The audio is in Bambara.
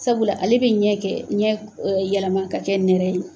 Sabula ale bɛ ɲɛ kɛ, ɲɛ yɛlɛma ka kɛ nɛrɛ ye.